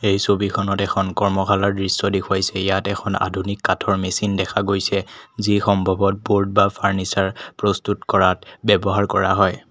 এই ছবিখনত এখন কৰ্মখালাৰ দৃশ্য দেখুৱাইছে ইয়াত এখন আধুনিক কাঠৰ মেচিন দেখা গৈছে যি সম্ভৱত ব'ৰ্ড বা ফাৰ্নিচ্চাৰ প্ৰস্তুত কৰাত ব্যৱহাৰ কৰা হয়।